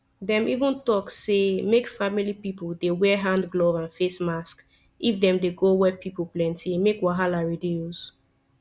dem even talk say make family people dey wear hand glove and face mask if dem dey go where pipo plenti make wahala reduce